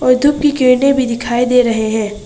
भी दिखाई दे रहे है।